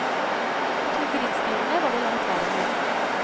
De to grillspydene var det langt verre med.